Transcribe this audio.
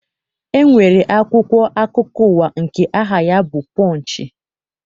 E nwere akwụkwọ akụkọ ụwa nke aha ya bụ Pọnchị.